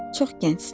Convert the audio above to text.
Çox gəncsiniz.